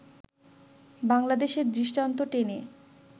বাংলাদেশের দৃষ্টান্ত টেনে